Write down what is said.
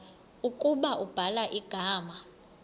ukuba ubhala igama